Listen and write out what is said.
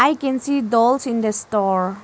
I can see dolls in the store.